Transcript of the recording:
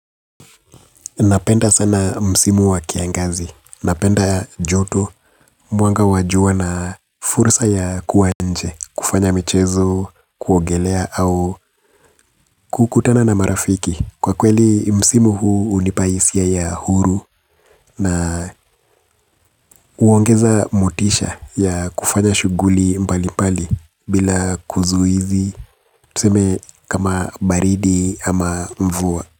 Napenda sana msimu wa kiangazi. Napenda joto mwanga wa jua na fursa ya kuwa nje, kufanya michezo, kuogelea au kukutana na marafiki. Kwa kweli msimu huu hunipa hisia ya huru na huongeza motisha ya kufanya shughuli mbalimbali bila kuzuizi, tuseme kama baridi ama mvua.